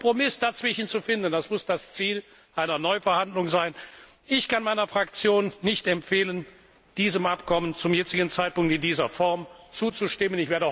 Einen Kompromiss dazwischen zu finden, das muss das Ziel einer Neuverhandlung sein. Ich kann meiner Fraktion nicht empfehlen, diesem Abkommen zum jetzigen Zeitpunkt in dieser Form zuzustimmen.